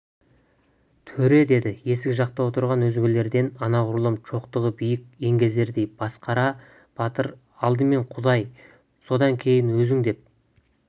төре деді есік жақта отырған өзгелерден анағұрлым шоқтығы биік еңгезердей басықара батыр алдымен құдай содан кейін өзің деп